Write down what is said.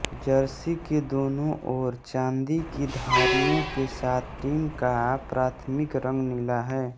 Jersey के दोनों ओर चांदी की धारियों के साथ टीम का प्राथमिक रंग नीला है